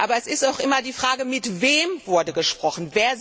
Aber es ist auch immer die Frage Mit wem wurde gesprochen.